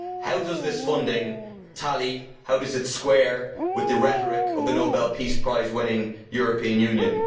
How does this funding tally, how does it square, with the rhetoric of the Nobel Peace Prize winning European Union?